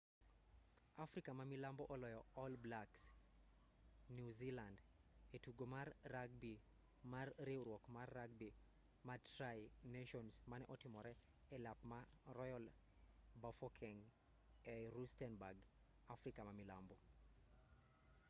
afrika ma milambo oloyo all blacks new zealand e tugo mar ragbi mar riwruok mar ragbi ma tri nations mane otimre e alap ma royal bafokeng ei rustenburg afrika ma milambo